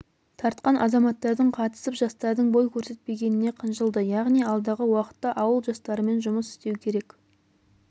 тартқан азаматтардың қатысып жастардың бой көрсетпегеніне қынжылды яғни алдағы уақытта ауыл жастарымен жұмыс істеу керек